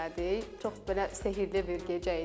Çox belə sehirli bir gecə idi.